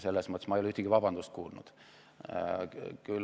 Selles mõttes ei ole ma ühtegi vabandust kuulnud.